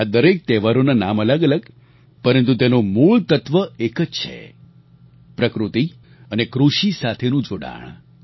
આ દરેક તહેવારોના નામ અલગઅલગ પરંતુ તેનું મૂળ તત્વ એક જ છે પ્રકૃતિ અને કૃષિ સાથેનું જોડાણ